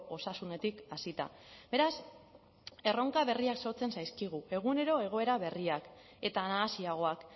osasunetik hasita beraz erronka berriak sortzen zaizkigu egunero egoera berriak eta nahasiagoak